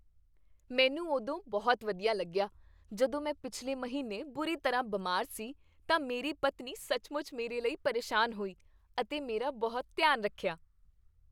ਮੈਨੂੰ ਉਦੋਂ ਬਹੁਤ ਵਧੀਆ ਲੱਗਿਆ ਜਦੋਂ ਮੈਂ ਪਿਛਲੇ ਮਹੀਨੇ ਬੁਰੀ ਤਰ੍ਹਾਂ ਬਿਮਾਰ ਸੀ ਤਾਂ ਮੇਰੀ ਪਤਨੀ ਸੱਚਮੁੱਚ ਮੇਰੇ ਲਈ ਪਰੇਸ਼ਾਨ ਹੋਈ ਅਤੇ ਮੇਰਾ ਬਹੁਤ ਧਿਆਨ ਰੱਖਿਆ।